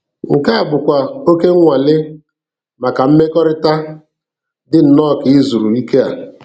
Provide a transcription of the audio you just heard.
Nke a bụkwa oké nnwale maka mmekọrịta, dị nnọọ ka ịzụrụ Ikea.